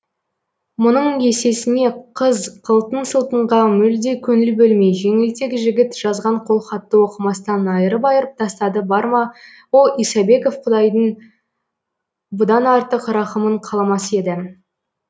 мұның есесіне қыз қылтың сылтыңға мүлде көңіл бөлмей жеңілтек жігіт жазған қолхатты оқымастан айырып айырып тастады бар ма о исабеков құдайдың бұдан артық рақымын қаламас еді